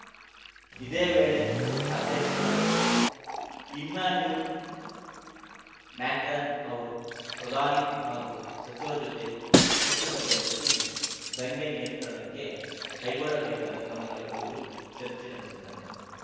ಇದೇ ವೇಳೆ ಅಧ್ಯಕ್ಷ ಇಮ್ಯಾನ್ಯುಲ್‌ ಮ್ಯಾಕ್ರಾನ್‌ ಅವರು ಪ್ರಧಾನಿ ಹಾಗೂ ಸಚಿವರ ಜೊತೆ ತುರ್ತು ಸಭೆ ನಡೆಸಿ ದಂಗೆ ನಿಯಂತ್ರಣಕ್ಕೆ ಕೈಗೊಳ್ಳಬೇಕಾದ ಕ್ರಮಗಳ ಕುರಿತು ಚರ್ಚೆ ನಡೆಸಿದ್ದಾರೆ